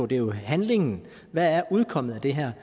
det er jo handlingen og hvad udkommet af det her